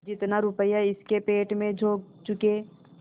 जितना रुपया इसके पेट में झोंक चुके